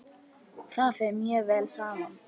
Það fer mjög vel saman.